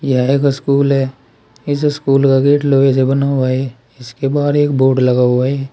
यह एक स्कूल है। इस स्कूल का गेट लोहे से बना हुआ है। इसके बाहर एक बोर्ड लगा हुआ है।